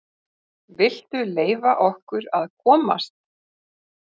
VILTU LEYFA OKKUR AÐ KOMAST!